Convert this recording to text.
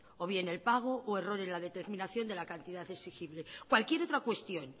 o bien el pago o error en la determinación de la cantidad exigible cualquier otra cuestión